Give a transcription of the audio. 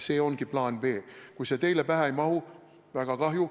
See ongi plaan B. Kui see teile pähe ei mahu, siis on väga kahju.